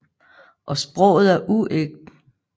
Og sproget er ægte uforfalsket jysk